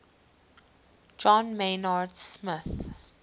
john maynard smith